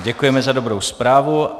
Děkujeme za dobrou zprávu.